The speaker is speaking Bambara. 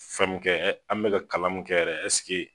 Fɛnkɛ ɛ an bɛka kalan min kɛ yɛrɛ ɛsike